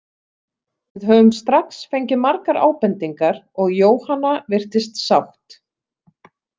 Við höfum strax fengið margar ábendingar og Jóhanna virtist sátt.